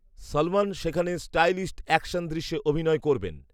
সলমন সেখানে stylised action দৃশ্যে অভিনয় করবেন